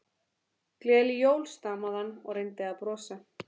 Gleðileg jól stamaði hann og reyndi að brosa.